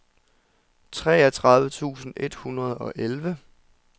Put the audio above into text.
treogtredive tusind et hundrede og elleve